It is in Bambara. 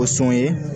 O sɔn ye